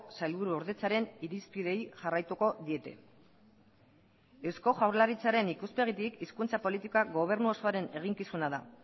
sailburuordetzaren irizpideei jarraituko diete eusko jaurlaritzaren ikuspegitik hizkuntza politikak gobernu osoaren eginkizuna da